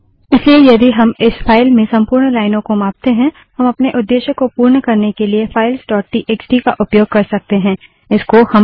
इसलिए यदि हम इस फाइल में संपूर्ण लाइनों को मापते हैं हम अपने उद्देश्य को पूर्ण करने के लिए फाइल्स डोट टीएक्सटीफाइल्सटीएक्सटी का उपयोग कर सकते हैं